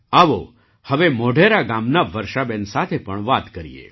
આવો હવે મોઢેરા ગામનાં વર્ષાબેન સાથે પણ વાત કરીએ